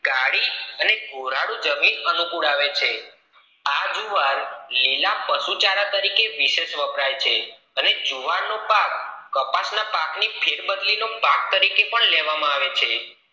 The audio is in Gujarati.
કાળી અને ભોરળૂ જમીન અનુકૂળ આવે છે આ જુવાર લીલા પશુચાર તરીકે બેશક વપરાય છે અને જુવાર નો પાક કપાસ ના પાક નો ફેર બદલી નો પાક તરીકે પણ લેવામાં આવે છે